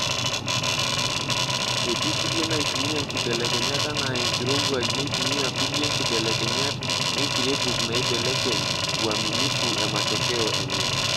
Etii kulie naitumia nkibelekenyat ana enkirowuaj neitumia kulie nkibelekenyat enkirebuk neibellekeny uaminifu e matokeo enye.